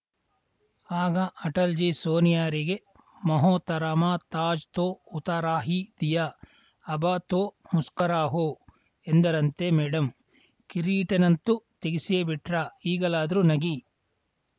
ಆಗ ಅಟಲಜಿ ಸೋನಿಯಾರಿಗೆ ಮೊಹತರಮಾ ತಾಜ್‌ ತೋ ಉತಾರ ಹಿ ದಿಯಾ ಅಬ ತೋ ಮುಸ್ಕುರಾವೋ ಎಂದರಂತೆ ಮೇಡಂ ಕಿರೀಟನ್ನಂತೂ ತೆಗೆಸಿಯೇಬಿಟ್ರ ಈಗಲಾದರೂ ನಗಿ